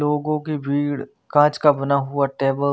लोगो कि भीड़ काच का बना हुआ टेबल --